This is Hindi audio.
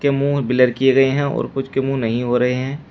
ये मुंह ब्लर किए गए हैं और कुछ के मुंह नहीं हो रहे हैं।